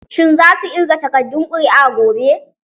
Shin zasu ƙirga takardun ƙuri'a gobe?